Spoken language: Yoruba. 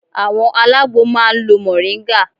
Àwọn alágbo máa ń lo Mọ̀ríngà